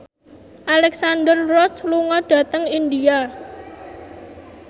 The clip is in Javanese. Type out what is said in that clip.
Alexandra Roach lunga dhateng India